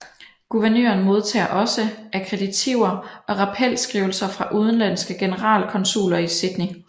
Guvernøren modtager også akkreditiver og rappelskrivelser fra udenlandske generalkonsuler i Sydney